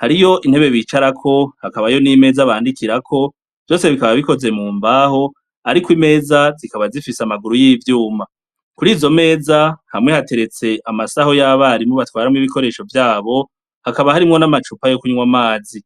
hariho intebe bicarako hakabaho nimeza banikirako vyose bikaba bikoze mumbaho ariko imeza zikaba zifise amaguru yivyuma kurizo meza hamwe hateretse amasaho yabarimwo batwaramwo ibikoresho vyabo hakaba harimwo namacupa yokunyweramwo vyamazi